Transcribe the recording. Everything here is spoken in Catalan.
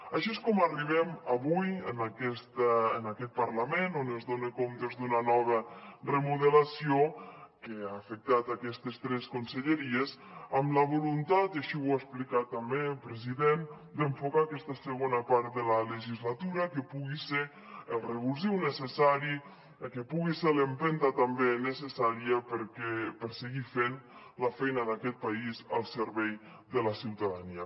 així és com arribem avui en aquest parlament on es donen comptes d’una nova remodelació que ha afectat aquestes tres conselleries amb la voluntat i així ho ha explicat també president d’enfocar aquesta segona part de la legislatura que pugui ser el revulsiu necessari que pugui ser l’empenta també necessària per seguir fent la feina d’aquest país al servei de la ciutadania